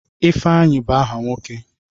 Ifeanyi bụ aha nwoke.